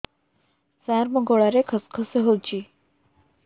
ସାର ମୋ ଗଳାରେ ଖସ ଖସ ହଉଚି